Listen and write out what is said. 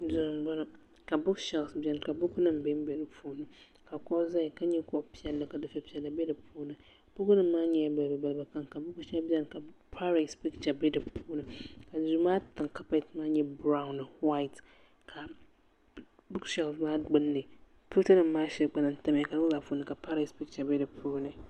duu n bɔŋɔ ka buuks sheelf biɛni ka buku nim bɛnbɛ di puuni ka kuɣu ʒɛya ka nyɛ kuɣu piɛlli ka dufɛ piɛlli bɛ di puuni buku nim maa nyɛla balibu balibu ka buku shɛli biɛni ka paarɛs picha bɛ di puuni duu maa tiŋ kaapɛt nyɛla biraawn ni whait buuk sheelf maa gbunni buku nim shɛli gba lahi tamya ka yinga maa puuni ka parees picha bɛ di puuni